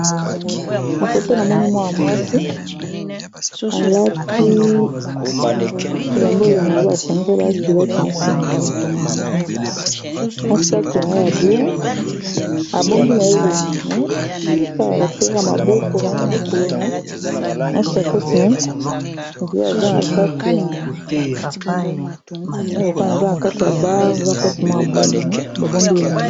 Na foto na moni mwa ya mwasi alati ebambo ezakaka basanzela ya kiloti na senge batongo yango bomu na saki ya ya bla abombi na elongi ne akala alaksilaka maboko na ya makolo na nashakosney di okaa aza na kati ya bare za pasi mwa abongu me babombi elongi.